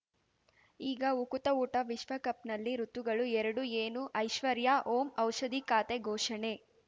ಈಗ ಉಕುತ ಊಟ ವಿಶ್ವಕಪ್‌ನಲ್ಲಿ ಋತುಗಳು ಎರಡು ಏನು ಐಶ್ವರ್ಯಾ ಓಂ ಔಷಧಿ ಖಾತೆ ಘೋಷಣೆ